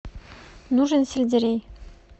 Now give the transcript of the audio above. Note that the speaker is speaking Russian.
нужен сельдерей